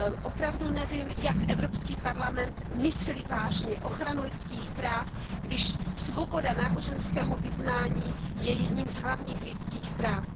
Opravdu nevím, jak Evropský parlament myslí vážně ochranu lidských práv, když svoboda náboženského vyznání je jedním z hlavních lidských práv.